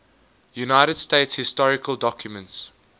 united states historical documents